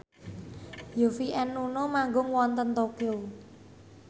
Yovie and Nuno manggung wonten Tokyo